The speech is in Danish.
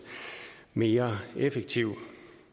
mere effektiv